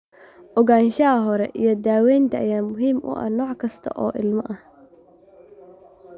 Ogaanshaha hore iyo daawaynta ayaa muhiim u ah nooc kasta oo ilmo ah.